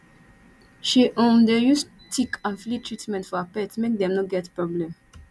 she um dey use tick and flea treatment for her pet make dem no get problem